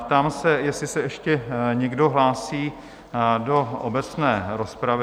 Ptám se, jestli se ještě někdo hlásí do obecné rozpravy?